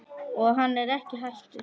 Og hann er ekki hættur.